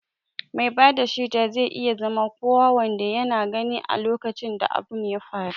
Mai bada shaida zai iya zama kowa wanda yana gani a lokacin da abun ya faru